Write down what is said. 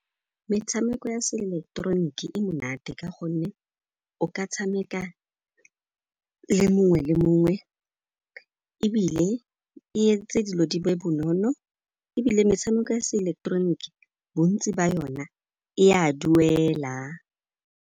Metshameko ya se ileketeroniki e monate ka gonne o ka tshameka le mongwe le mongwe ebile e entse dilo di be bonolo, ebile metshameko ya se ileketeroniki bontsi ba yona e a duela.